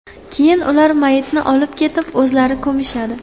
Keyin ular mayitni olib ketib o‘zlari ko‘mishadi.